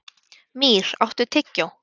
Mýr, áttu tyggjó?